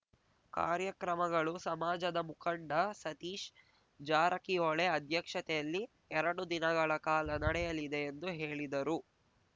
ಕಾರ್ಯಕ್ರಮಗಳು ಸಮಾಜದ ಮುಖಂಡ ಸತೀಶ್ ಜಾರಕಿಹೊಳೆ ಅಧ್ಯಕ್ಷತೆಯಲ್ಲಿ ಎರಡು ದಿನಗಳ ಕಾಲ ನಡೆಯಲಿದೆ ಎಂದು ಹೇಳಿದರು